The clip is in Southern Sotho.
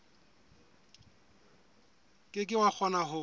ke ke wa kgona ho